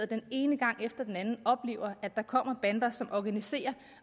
den ene gang efter den anden oplever at der kommer bander som organiserer